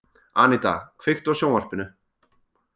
Aníta, kveiktu á sjónvarpinu.